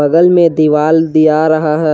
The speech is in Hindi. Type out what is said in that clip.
बगल में दीवाल दिया रहा है।